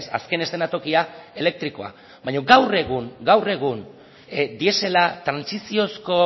azken eszenatokia elektrikoa baina gaur egun diesela trantsiziozko